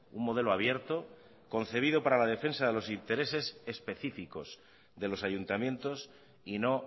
un modelo abierto concebido para la defensa de los intereses específicos de los ayuntamientos y no